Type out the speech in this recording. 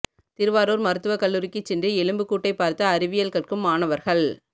திருவாரூர் மருத்துவக் கல்லூரிக்குச் சென்று எலும்புக்கூட்டைப் பார்த்து அறிவியல் கற்கும் மாணவர்கள்